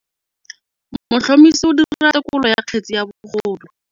Motlhotlhomisi o dira têkolô ya kgetse ya bogodu.